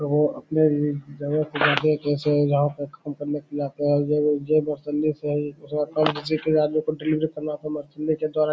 तो अपने जगह काम करने के लिए आते हैं --